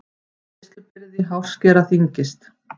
Greiðslubyrði hárskera þyngist